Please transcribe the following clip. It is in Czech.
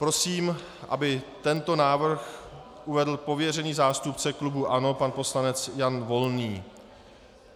Prosím, aby tento návrh uvedl pověřený zástupce klubu ANO pan poslanec Jan Volný.